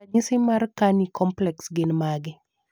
ranyisi mar Carney complex gin mage?